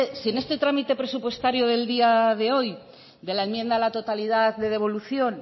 si en este trámite presupuestario del día de hoy de la enmienda a la totalidad de devolución